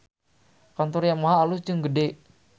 Kantor Yamaha alus jeung gede